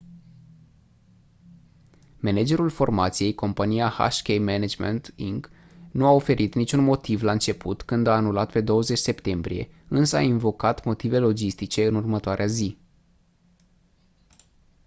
managerul formației compania hk management inc nu a oferit niciun motiv la început când a anulat pe 20 septembrie însă a invocat motive logistice în următoarea zi